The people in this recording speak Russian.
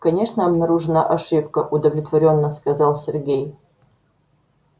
конечно обнаружена ошибка удовлетворённо сказал сергей